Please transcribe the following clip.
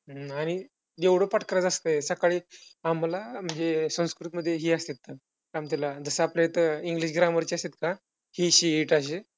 आणि एवढं पाठ करायचं असतंय, सकाळी आम्हांला म्हणजे संस्कृतमध्ये हि असतात, काय म्हणता त्याला जसं आपल्या इथं english grammar चं असत्यात ना he, she, it आशे.